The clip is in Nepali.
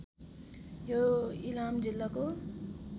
यो इलाम जिल्लाको